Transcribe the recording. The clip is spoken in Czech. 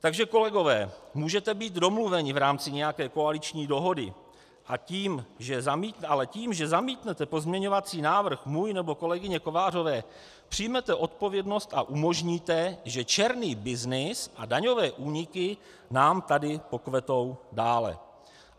Takže kolegové, můžete být domluveni v rámci nějaké koaliční dohody, ale tím, že zamítnete pozměňovací návrh můj nebo kolegyně Kovářové, přijmete odpovědnost a umožníte, že černý byznys a daňové úniky nám tady pokvetou dále.